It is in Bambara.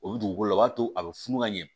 O bɛ dugukolo la o b'a to a bɛ funu ka ɲɛ